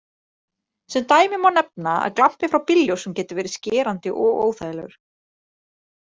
Sem dæmi má nefna að glampi frá bílljósum getur verið skerandi og óþægilegur.